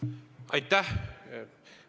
Aitäh!